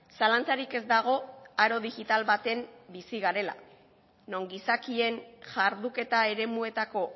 zalantzarik ez dago haro digital baten bizi garela non gizakien jarduketa eremuetako